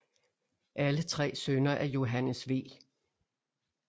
Alle tre sønner af Johannes V